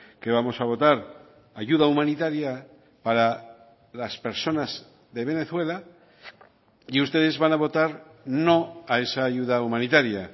que vamos a votar ayuda humanitaria para las personas de venezuela y ustedes van a votar no a esa ayuda humanitaria